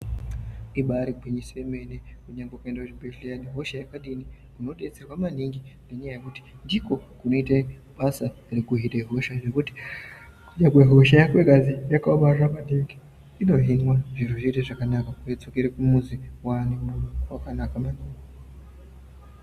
Ibari gwinyiso yemene kunyangwe ukaenda kuchibhehleya nehosha yakadini unodetserwa maningi ngenyaya yekuti ndikwo kunoita basa rekuhine hosha zvekuti kunyangwe hosha yako ikazwi yakaomarara maningi inohinwa zviro zviite zvakanaka wodzokera kumuzi wane mwiri wakanaka maningi.